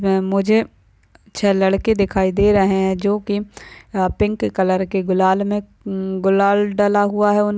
मुझे छह लड़के दिखाई दे रहे है जो की पिंक कलर की गुलाल मे हम्म गुलाल डला हुआ है। उन--